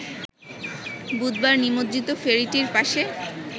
বুধবার নিমজ্জিত ফেরিটির পাশে